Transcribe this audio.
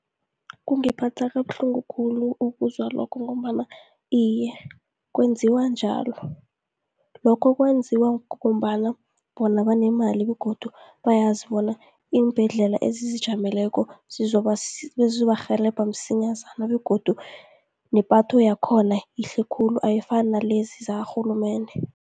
Kungiphatha kabuhlungu khulu ukuzwa lokho, ngombana iye kwenziwa njalo. Lokho kwenziwa ngombana bona banemali, begodu bayazi bona iimbhedlela ezizijameleko zizobarhelebha msinyazana, begodu nepatho yakhona yihle khulu, ayifani nalezi zakarhulumende.